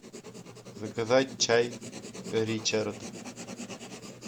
заказать чай ричард